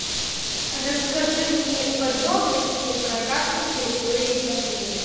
расскажи мне подробности про карту территории в отеле